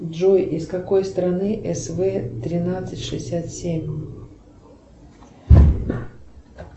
джой из какой страны св тринадцать шестьдесят семь